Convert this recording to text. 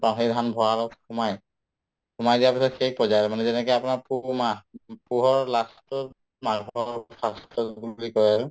পাওঁ সেই ধান ভড়ালত সোমাই সোমাই দিয়াৰ পিছত শেষ হৈ আৰু মানে যেনেকে আপোনাৰ পুহ মাহ ‌ পুহৰ last তত মাঘৰ first তত বুলি কই আৰু